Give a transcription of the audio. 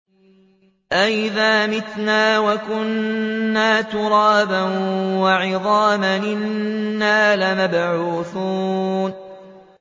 أَإِذَا مِتْنَا وَكُنَّا تُرَابًا وَعِظَامًا أَإِنَّا لَمَبْعُوثُونَ